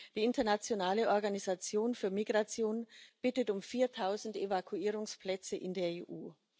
Die Internationale Organisation für Migration bittet um viertausend Evakuierungsplätze in der EU.